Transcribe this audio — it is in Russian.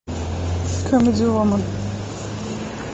камеди вумен